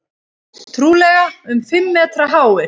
Trúlega um fimm metra háir.